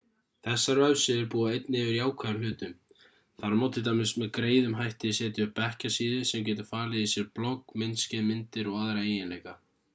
þessar vefsíður búa einnig yfir jákvæðum hlutum þar má til dæmis með greiðum hætti setja upp bekkjasíðu sem getur falið í sér blogg myndskeið myndir og aðra eiginleika